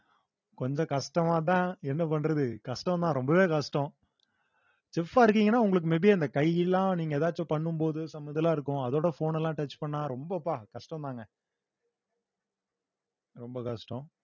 கொஞ்சம் கஷ்டமாதான் என்ன பண்றது கஷ்டம் தான் ரொம்பவே கஷ்டம் chef ஆ இருக்கீங்கன்னா உங்களுக்கு may be அந்த கையெல்லாம் நீங்க எதாச்சும் பண்ணும் போது some இதெல்லாம் இருக்கும் அதோட phone எல்லாம் touch பண்ணா ரொம்பப்பா கஷ்டம்தாங்க ரொம்ப கஷ்டம்